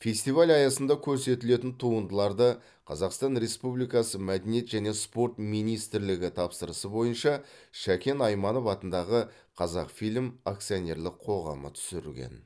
фестиваль аясында көрсетілетін туындыларды қазақстан республикасы мәдениет және спорт министрлігі тапсырысы бойынша шәкен айманов атындағы қазақфильм акционерлік қоғамы түсірген